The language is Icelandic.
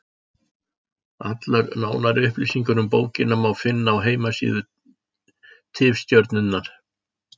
Allar nánari upplýsingar um bókina má finna á heimasíðu Tifstjörnunnar.